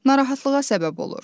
Narahatlığa səbəb olur.